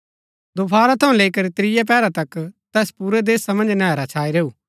दोफारा थऊँ लैई करी त्रियै पैहरा तक तैस पुरै देशा मन्ज नैहरा छाई रैऊ